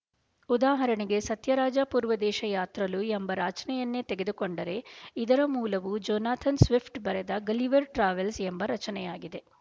ಉದಾಹರಣೆಗೆ ಸತ್ಯರಾಜಾ ಪೂರ್ವದೇಶ ಯಾತ್ರಲು ಎಂಬ ರಚನೆಯನ್ನೆ ತೆಗೆದುಕೊಂಡರೆ ಇದರ ಮೂಲವು ಜೊನಾಥನ್ ಸ್ವಿಪ್ಟ್ ಬರೆದ ಗಲಿವರ್ ಟ್ರಾವೆಲ್ಸ್ ಎಂಬ ರಚನೆಯಾಗಿದೆ